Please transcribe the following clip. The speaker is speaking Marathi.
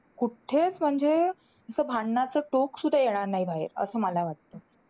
कुठेच म्हणजे असं भांडणाचं टोक सुद्धा येणार नाही बाहेर. असं मला वाटतं.